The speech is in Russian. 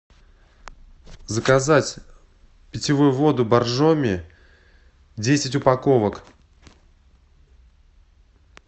заказать питьевую воду боржоми десять упаковок